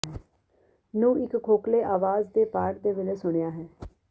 ਨੂੰ ਇੱਕ ਖੋਖਲੇ ਆਵਾਜ਼ ਦੇ ਪਾਟ ਦੇ ਵੇਲੇ ਸੁਣਿਆ ਹੈ